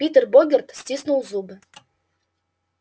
питер богерт стиснул зубы